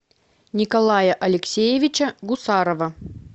николая алексеевича гусарова